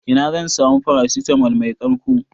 Ina zan samu paracetamol mai ƙarko?